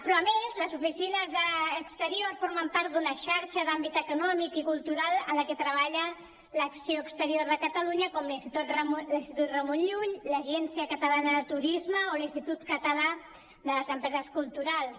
però a més les oficines d’exterior formen part d’una xarxa d’àmbit econòmic i cultural en la que treballa l’acció exterior de catalunya com l’institut ramon llull l’agència catalana de turisme o l’institut català de les empreses culturals